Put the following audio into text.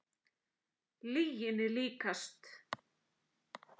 Lyginni líkast.